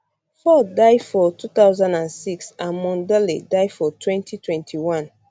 ford die for 2006 and mondale die for 2021